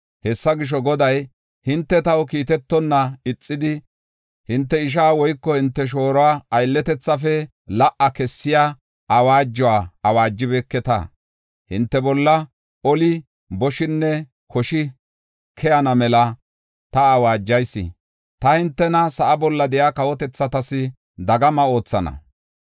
Hessa gisho, Goday, “Hinte taw kiitetonna ixidi, hinte ishaa woyko hinte shooruwa aylletethafe la77a kessiya awaajuwa awaajibeketa. Hinte bolla oli, boshinne koshi keyana mela ta awaajayis. Ta hintena sa7a bolla de7iya kawotethatas dagama oothana.